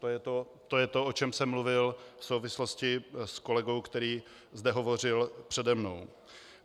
To je to, o čem jsem mluvil v souvislosti s kolegou, který zde hovořil přede mnou.